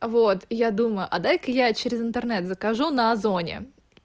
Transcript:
вот я думаю а дай-ка я через интернет закажу на озоне